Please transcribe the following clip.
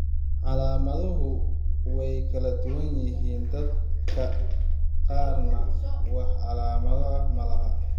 Calaamaduhu way kala duwan yihiin, dadka qaarna wax calaamado ah ma laha.